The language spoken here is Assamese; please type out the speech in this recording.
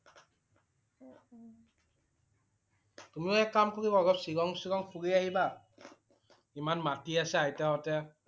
তুমিও এক কাম কৰিবা। অলপ শ্বিলং শ্বিলং ফুৰি আহিবা। ইমান মাতি আছে আইতা সতে।